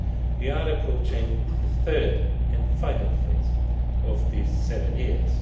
We are approaching the third and final phase of these seven years.